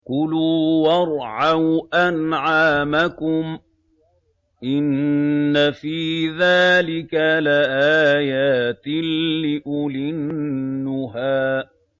كُلُوا وَارْعَوْا أَنْعَامَكُمْ ۗ إِنَّ فِي ذَٰلِكَ لَآيَاتٍ لِّأُولِي النُّهَىٰ